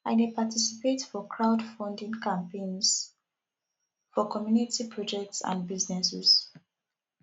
i dey participate for crowdfunding campaigns for community projects and businesses